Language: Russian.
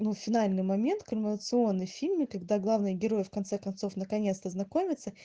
ну финальный момент коронационный в фильме когда главный герой в конце концов наконец-то знакомятся